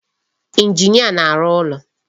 Injinia na-arụ ụlọ.